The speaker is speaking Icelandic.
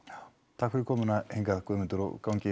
takk fyrir komuna Guðmundur og gangi